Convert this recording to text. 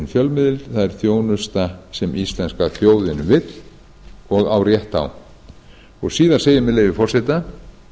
fjölmiðil það er þjónusta sem íslenska þjóðin vill og á rétt á síðar segir með leyfi forseta